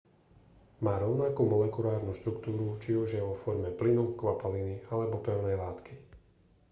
má rovnakú molekulárnu štruktúru či už je vo forme plynu kvapaliny alebo pevnej látku